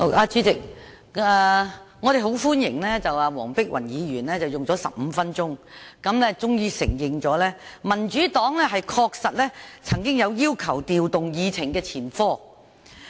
主席，我們很歡迎黃碧雲議員用了15分鐘，終於承認民主黨確實有要求調動議程的前科。